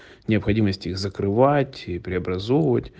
необходимость их закрывать и преобразовывать